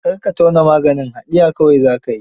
Kar ka tauna maganin, haɗiya kawai za ka yi.